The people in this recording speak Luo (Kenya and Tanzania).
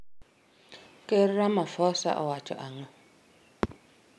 Ker Ramafosa owacho ang'o?